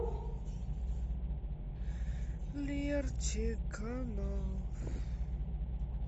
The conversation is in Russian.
лерчик канал